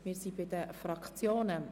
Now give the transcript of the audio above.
Wir sind bei denFraktionen.